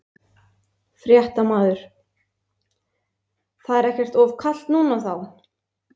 Fréttamaður: Það er ekkert of kalt núna þá?